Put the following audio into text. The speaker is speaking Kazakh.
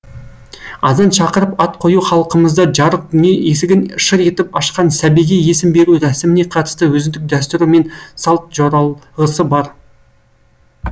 азан шақырып ат қою халқымызда жарық дүние есігін шыр етіп ашқан сәбиге есім беру рәсіміне қатысты өзіндік дәстүрі мен салт жоралғысы бар